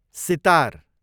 sitar